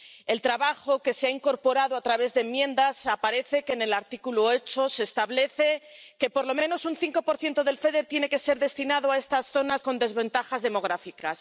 El trabajo que se ha incorporado a través de enmiendas se plasma en el artículo 8, que establece que por lo menos un 5 del FEDER tiene que ser destinado a estas zonas con desventajas demográficas.